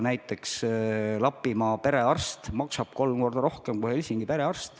Näiteks Lapimaal maksab perearst tihtipeale kolm korda rohkem kui Helsingis.